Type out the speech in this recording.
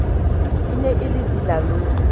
e ne e le dilalome